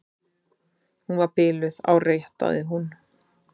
Hún var biluð, áréttaði hún.